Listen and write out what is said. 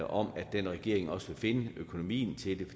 om at den regering også vil finde økonomien til det